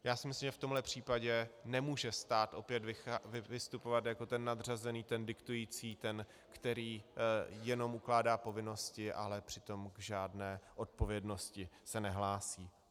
Já si myslím, že v tomhle případě nemůže stát opět vystupovat jako ten nadřazený, ten diktující, ten, který jenom ukládá povinnosti, ale přitom k žádné odpovědnosti se nehlásí.